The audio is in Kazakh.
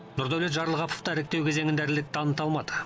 нұрдәулет жарылғапов та іріктеу кезеңінде ірілік таныта алмады